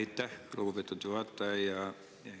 Aitäh, lugupeetud juhataja!